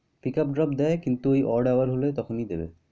pick up drop দেয় কিন্ত ওই odd hour হলে তখনই দিবে।